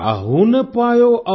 काहु न पायौ और